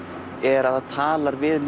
er að það talar við